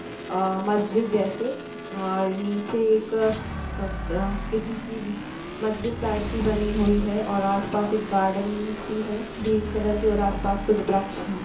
अ मस्जिद जैसे और नीचे एक क किसी की मस्जिद टाइप की बनी हुई है और आसपास एक गार्डनिंग सी है ग्रीन कलर की और आसपास कुछ वृक्ष हैं।